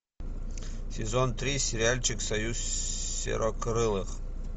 сезон три сериальчик союз серокрылых